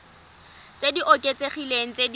tse di oketsegileng tse di